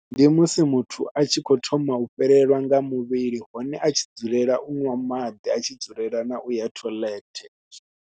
Ndi musi muthu a tshi khou thoma u fhelelwa nga muvhili hone a tshi dzulela u ṅwa maḓi, a tshi dzulela na u ya toilet.